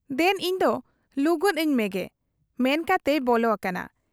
ᱫᱮᱱ ᱤᱧᱫᱚ ᱞᱩᱜᱚᱫ ᱟᱹᱧ ᱢᱮᱜᱮ' ᱼᱼᱢᱮᱱ ᱠᱟᱛᱮᱭ ᱵᱚᱞᱚ ᱟᱠᱟᱱᱟ ᱾